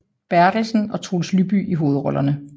Berthelsen og Troels Lyby i hovedrollerne